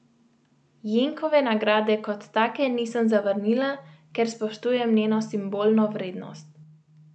Jenkove nagrade kot take nisem zavrnila, ker spoštujem njeno simbolno vrednost.